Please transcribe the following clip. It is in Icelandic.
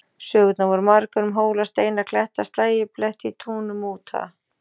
Sögurnar voru margar um hóla, steina, kletta, slægjubletti í túnum og úthaga.